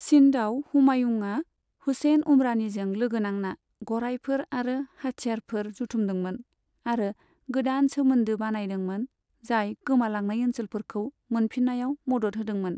सिन्धआव हुमायुंआ हुसैन उमरानिजों लोगो नांना गरायफोर आरो हाथियारफोर जथुमदोंमोन आरो गोदान सोमोन्दो बानायदोंमोन जाय गोमालांनाय ओन्सोलफोरखौ मोनफिन्नायाव मदद होदोंमोन।